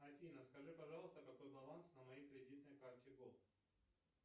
афина скажи пожалуйста какой баланс на моей кредитной карте голд